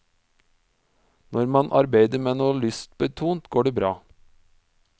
Når man arbeider med noe lystbetont, går det bra.